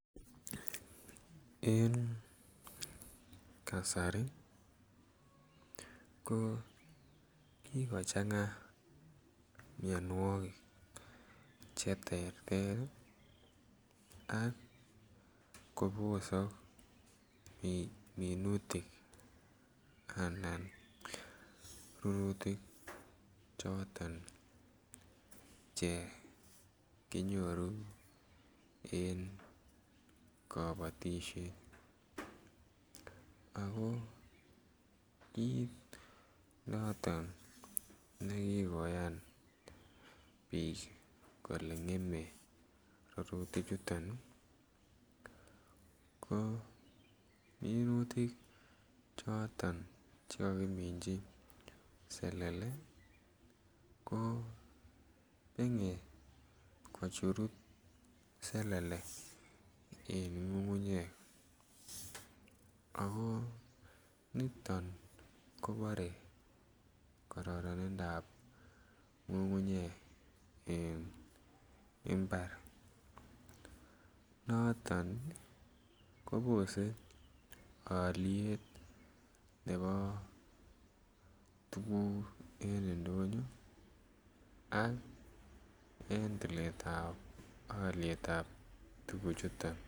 En kasari ko kikochanga mionwokik che terter ii ak kobosok minutik anan ko rurutik choton che kinyoru en kobotishet ako kiit noton ne kigoyan biik kolee ngemee rurutik chuton ii ko minutik choton che kokiminji selele ko bengee kochurut selele en ngungunyek ako niton kobore kororonindap ngungunyek en imbar noton kobore olyet nebo tuguk en ndonyo ak en tiletab olyetab tuguchuton